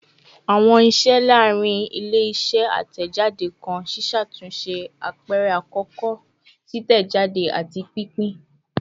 Awọn iṣẹ laarin ile-iṣẹ atẹjade kan ṣiṣatunṣe, apẹrẹ akọkọ, titẹjade, ati pinpin